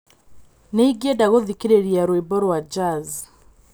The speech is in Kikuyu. nīingīenda gūthikīrīria rwīmbo rwa jazz